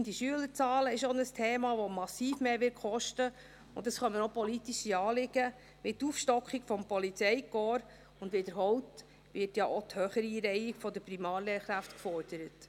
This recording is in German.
Steigende Schülerzahlen ist auch ein Thema, das massiv mehr kosten wird, und es kommen noch politische Anliegen hinzu, wie die Aufstockung des Polizeikorps, und wiederholt wird ja auch die Höhereinreihung der Primarlehrkräfte gefordert.